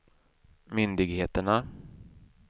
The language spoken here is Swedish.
myndigheterna